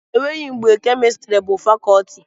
Enweghị mgbe kemịstrị bụ fakọtị